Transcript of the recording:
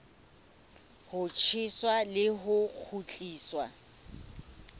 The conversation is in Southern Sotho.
ho tjheswa le ho kgutliswa